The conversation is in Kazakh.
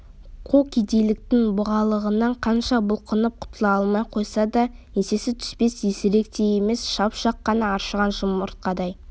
қу кедейліктің бұғалығынан қанша бұлқынып құтыла алмай қойса да еңсесі түспес есірік те емес шап-шақ қана аршыған жұмыртқадай